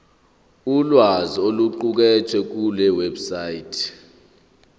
ulwazi oluqukethwe kulewebsite